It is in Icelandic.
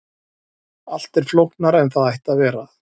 allt er flóknara en það ætti að vera